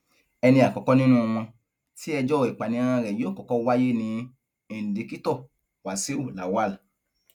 ẹni àkọkọ nínú wọn tí ẹjọ ìpànìyàn rẹ yóò kọkọ wáyé ní indikítọ wàṣíù lawal